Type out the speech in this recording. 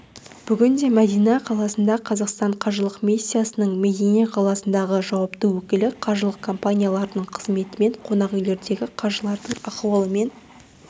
бүгін мәдина қаласында қазақстан қажылық миссиясының медине қаласындағы жауапты өкілі қажылық компанияларының қызметімен қонақүйлердегі қажылардың ахуалымен